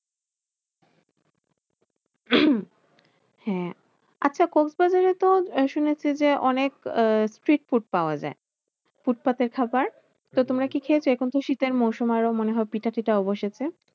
হ্যাঁ আছে কক্সবাজারে তো শুনেছি যে, অনেক আহ sea food পাওয়া যায়। ফুটপাতের খাবার তো তোমরা কি খেয়েছো? এখন তো শীতের মরসুম আরো মনে হয় পিঠা ফিতাও বসেছে।